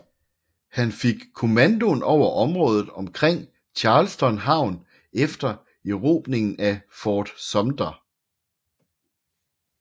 Han fik kommandoen over området omkring Charleston havn efter erobringen af Fort Sumter